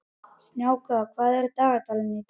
Snjáka, hvað er í dagatalinu í dag?